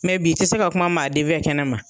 Mɛ bi i tɛ se ka kuma maa den fɛ ,kɛnɛma